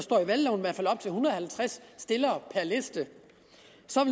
halvtreds stillere per liste